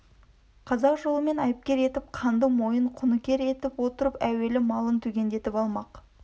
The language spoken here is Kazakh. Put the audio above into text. қазақ жолымен айыпкер етіп қанды мойын құныкер етіп отырып әуелі малын түгендетіп алмақ